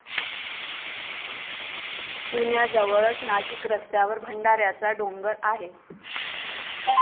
पुण्याजवळच नाशिक रस्त्यावर भंडाऱ्याचा डोंगर आहे.